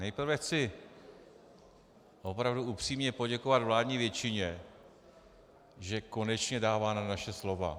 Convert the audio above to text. Nejprve chci opravdu upřímně poděkovat vládní většině, že konečně dává na naše slova.